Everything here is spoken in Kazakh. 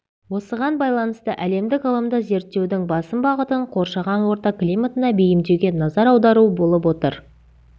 осыған байланысты әлемдік ғылымда зерттеудің басым бағытын қоршаған орта климатына бейімдеуге назар аудару болып отыр